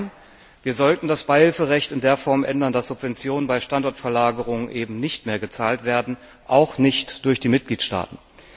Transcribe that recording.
Nein! Wir sollten das Beihilferecht in der Form ändern, dass Subventionen bei Standortverlagerung eben nicht mehr gezahlt werden, auch nicht durch die Mitgliedstaaten.